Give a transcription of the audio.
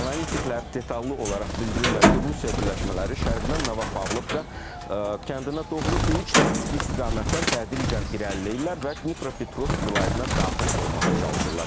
Analitiklər detallı olaraq bildirirlər ki, Rusiya birləşmələri şərqdən Nova Pavlovka kəndinə doğru üç taktiki istiqamətdən tədricən irəliləyirlər və Dnipropetrovsk vilayətinə daxil olmağa çalışırlar.